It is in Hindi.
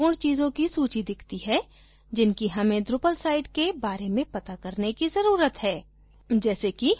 यहाँ हमें कुछ महत्वपूर्ण चीजों की सूची दिखती है जिनकी हमें drupal site के बारे में पता करने की जरूरत है